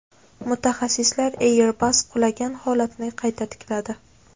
Mutaxassislar Airbus qulagan holatni qayta tikladi .